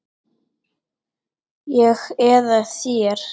Ég eða þér?